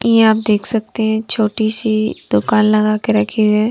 यह आप देख सकते हैं छोटी सी दुकान लगा के रखे हैं।